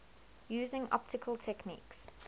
using optical techniques